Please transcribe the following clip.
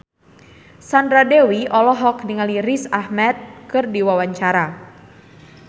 Sandra Dewi olohok ningali Riz Ahmed keur diwawancara